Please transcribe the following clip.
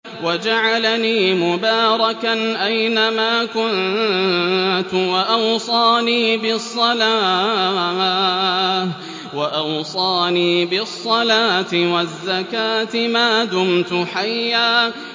وَجَعَلَنِي مُبَارَكًا أَيْنَ مَا كُنتُ وَأَوْصَانِي بِالصَّلَاةِ وَالزَّكَاةِ مَا دُمْتُ حَيًّا